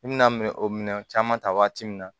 I bi na o minɛn caman ta waati min na